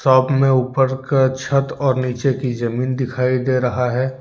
अपने ऊपर का छत और नीचे की जमीन दिखाई दे रहा है।